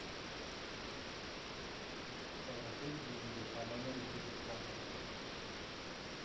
положить деньги по номеру телефона